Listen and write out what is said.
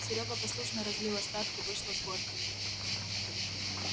серёга послушно разлил остатки вышло с горкой